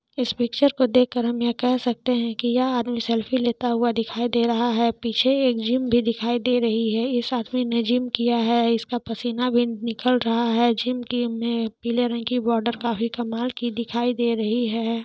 इस पिक्चर को देख कर हम यह केह सकते है की ये आदमी सेल्फी लेता हुए दिखाई दे रहा है पीछे एक जिम भी दिखाई दे रही है इस आदमी ने जिम किया है इसका पसीना भी निकल रहा है जिम की पीले रंग की बोदर काफी कमाल दिखाई दे रही है।